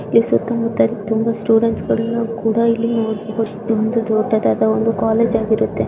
ಇಲ್ಲಿ ಸುತ್ತಮುತ್ತ ತುಂಬಾ ಸ್ಟೂಡೆಂಟ್ಸಗಳನ್ನೂ ಕೂಡ ಇಲ್ಲಿ